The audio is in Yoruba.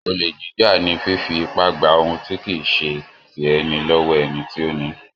Olè jíjà ni fífí ipá gba ohun tí kì í ṣẹ ti ẹni lọ́wọ́ ẹni tí ó ni í.